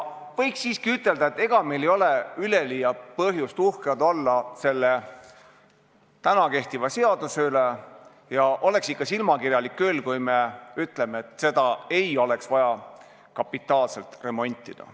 Võiks siiski ütelda, et ega meil ei ole üleliia põhjust selle praegu kehtiva seaduse üle uhked olla, ja oleks ikka silmakirjalik küll, kui ütleksime, et seda ei ole vaja kapitaalselt remontida.